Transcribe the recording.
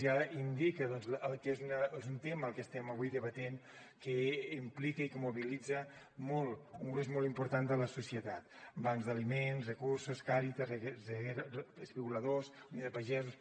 ja indica doncs que és un tema el que estem avui debatent que implica i que mobilitza molt un gruix molt important de la societat bancs dels aliments recursos càritas rezero espigoladors unió de pagesos